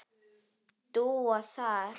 Dúa þar.